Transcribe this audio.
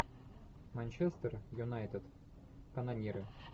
манчестер юнайтед канониры